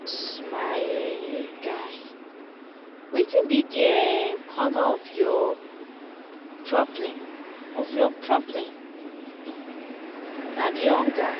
my um guy wetin be the um colour of your problem of your problem um na the hunger?